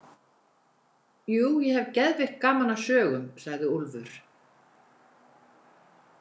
Jú, ég hef geðveikt gaman af sögum, sagði Úlfur.